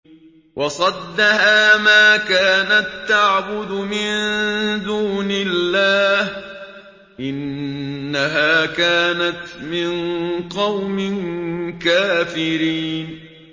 وَصَدَّهَا مَا كَانَت تَّعْبُدُ مِن دُونِ اللَّهِ ۖ إِنَّهَا كَانَتْ مِن قَوْمٍ كَافِرِينَ